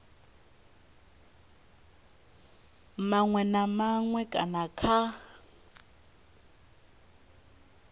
maṅwe na maṅwe kana kha